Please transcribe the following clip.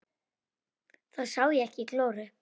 Þá sá ég ekki glóru.